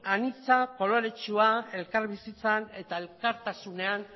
anitza koloretsua elkarbizitzan eta elkartasunean